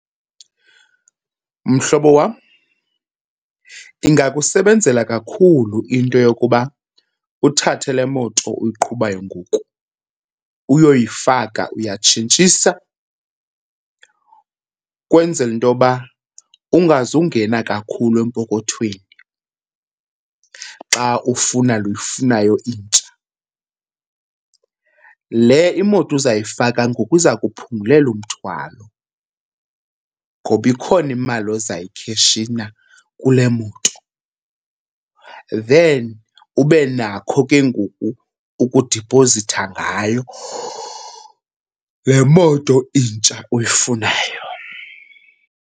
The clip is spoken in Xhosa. Mhlobo wam, ingakusebenzela kakhulu into yokuba uthathe le moto uyiqhubayo ngoku uyoyifaka, uyatshintshisa ukwenzela into yoba ungazungena kakhulu empokothweni xa ufuna le uyifunayo intsha. Le imoto uzayifaka ngoku iza kuphungulela umthwalo ngoba ikhona imali ozayikheshina kule moto then ube nakho ke ngoku ukudipozitha ngayo le moto intsha uyifunayo.